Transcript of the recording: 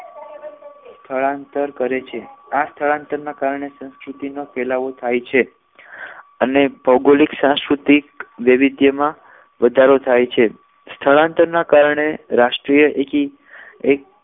સ્થળાંતર કરે છે આ સ્થળાંતરને કારણે સંસ્કૃતિમાં ફેલાવો થાય છે અને ભૌગોલિક સંસ્કૃતિક વૈવિધ્યમાં વધારો થાય છે સ્થળાંતર ના કારણે રાષ્ટ્રીય એકી